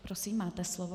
Prosím, máte slovo.